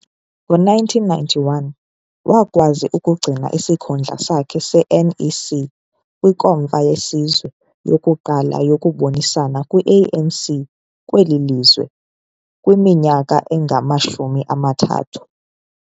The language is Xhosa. Ngo-1991, wakwazi ukugcina isikhundla sakhe se-NEC kwiNkomfa yeSizwe yokuqala yokubonisana kwi-ANC kweli lizwe kwiminyaka engamashumi amathathu.